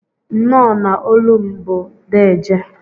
Nnọ na olum bu dejee.